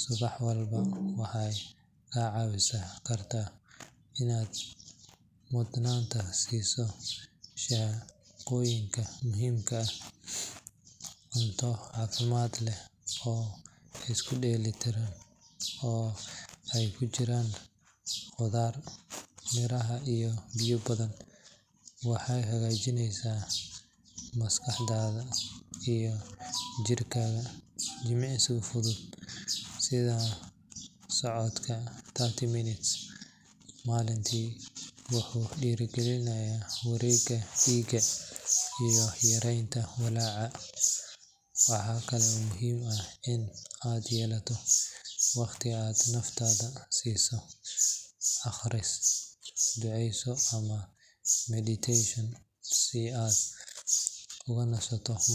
subax walba waxay kaa caawin kartaa inaad mudnaanta siiso shaqooyinka muhiimka ah. Cunto caafimaad leh oo isku dheelli tiran, oo ay ku jiraan khudaar, miraha iyo biyo badan, waxay hagaajinaysaa maskaxdaada iyo jirkaaga. Jimicsiga fudud sida socodka thirty minutes maalintii wuxuu dhiirrigeliyaa wareegga dhiigga iyo yareynta walaaca. Waxa kale oo muhiim ah in aad yeelato waqti aad naftaada siiso akhris, ducayso ama meditation si aad ugu nasato maskax.